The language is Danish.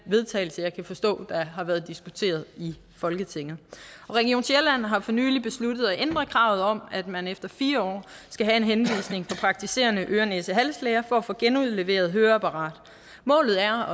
vedtagelse jeg kan forstå har været diskuteret i folketinget region sjælland har for nylig besluttet at ændre kravet om at man efter fire år skal have en henvisning praktiserende øre næse hals læge for at få genudleveret et høreapparat målet er